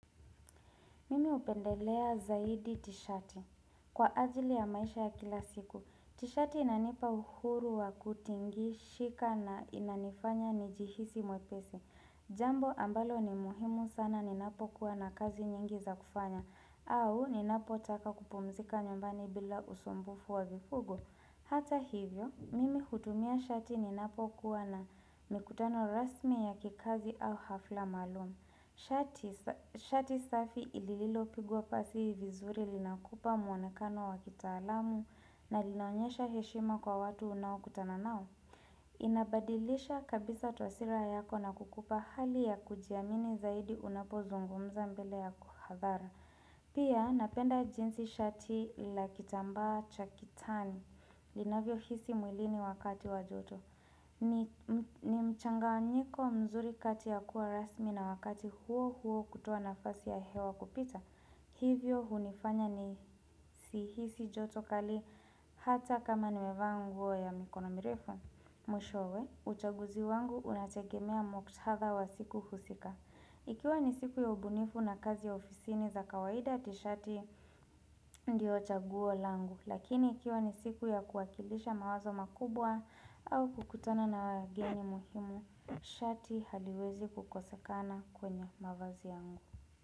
Mimi upendelea zaidi tishati kwa ajili ya maisha ya kila siku. Tishati inanipa uhuru wa kutingi, shika na inanifanya ni jihisi mwepesi. Jambo ambalo ni muhimu sana ninapo kuwa na kazi nyingi za kufanya. Au ninapo taka kupumzika nyumbani bila usombufu wa vifugo. Hata hivyo, mimi hutumia shati ninapo kuwa na mikutano rasmi ya kikazi au hafla maalum. Shati safi ilililo pigwa pasi vizuri lina kupa muonekano wa kitaalamu na linaonyesha heshima kwa watu unao kutana nao inabadilisha kabisa tuhasira yako na kukupa hali ya kujiamini zaidi unapo zungumza mbele ya kuhadhara Pia napenda jinsi shati lakitambaa chakitani lina vyo hisi mwilini wakati wajoto ni mchanga wanyiko mzuri kati ya kuwa rasmi na wakati huo huo kutoa na fasi ya hewa kupita Hivyo hunifanya ni sihisi joto kali hata kama ni mevaa nguo ya mikono mirefu Mwishowe, uchaguzi wangu unategemea mukthadha wa siku husika Ikiwa ni siku ya ubunifu na kazi ya ofisini za kawaida tishati ndio chaguo langu Lakini ikiwa ni siku ya kuwakilisha mawazo makubwa au kukutana na wageni muhimu Shati haliwezi kukosakana kwenye mavazi yangu.